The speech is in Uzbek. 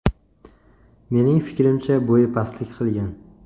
Mening fikrimcha, bo‘yi pastlik qilgan.